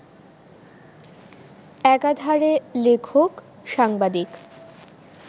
একাধারে লেখক, সাংবাদিক